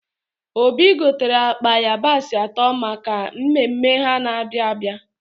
Obi gotere akpa ịyabasị atọ maka mmemme ha na-abịa abịa